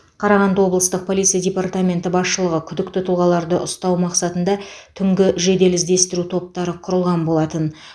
қарағанды облыстық полиция департаменті басшылығы күдікті тұлғаларды ұстау мақсатында түнгі жедел іздестіру топтары құрылған болатын